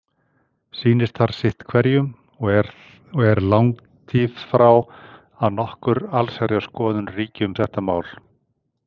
Sýnist þar sitt hverjum og er langtífrá að nokkur allsherjarskoðun ríki um þetta mál.